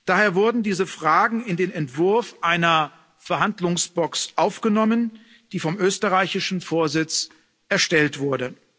Daher wurden diese Fragen in den Entwurf einer Verhandlungsbox aufgenommen, die vom österreichischen Vorsitz erstellt wurde.